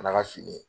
N'a ka fini ye